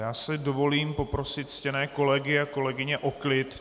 Já si dovolím poprosit ctěné kolegy a kolegyně o klid.